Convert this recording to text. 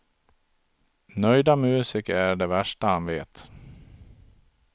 Nöjda musiker är det värsta han vet.